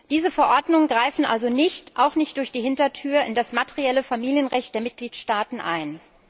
Diese Verordnungen greifen also nicht auch nicht durch die Hintertür in das materielle Familienrecht der Mitgliedstaaten ein.